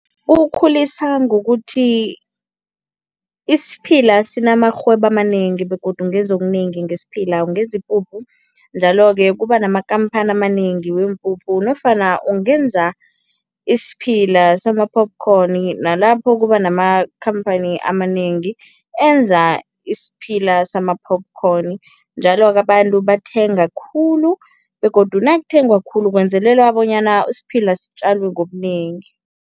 Kukhulisa ngokuthi isiphila sinamarhwebo amanengi begodu ungenza okunengi ngesiphila. Ungenza ipuphu, njalo-ke kuba namakhamphani amanengi weempuphu nofana ungenza isiphila sama-popcorn, nalapho kuba namakhamphani amanengi enza isiphila sama-popcorn njalo-ke abantu bathenga khulu begodu nakuthengwa khulu kwenzelela bonyana isiphila sitjalwe ngobunengi.